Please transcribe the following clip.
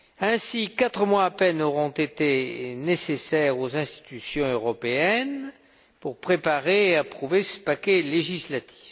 Ainsi, quatre mois à peine auront été nécessaires aux institutions européennes pour préparer et approuver ce paquet législatif.